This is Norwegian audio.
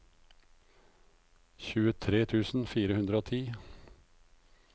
tjuetre tusen fire hundre og ti